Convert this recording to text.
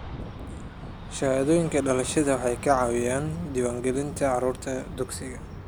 Shahaadooyinka dhalashada waxay ka caawinayaan diiwaangelinta carruurta dugsiga.